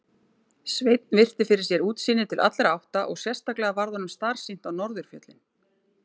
Sveinn virti fyrir sér útsýnið til allra átta og sérstaklega varð honum starsýnt á norðurfjöllin.